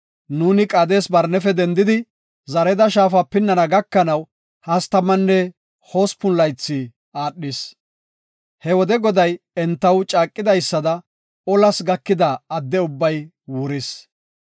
Nuuni Qaades-Barnefe dendidi, Zareda Shaafa pinnana gakanaw hastamanne hospun laythi aadhis. He wode Goday entaw caaqidaysada olas gakida adde ubbay wuris.